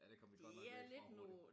Ja det kom vi godt nok væk fra hurtigt